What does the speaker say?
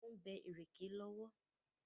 Wọ́n ń bẹ́ ìrèké lọ́wọ́.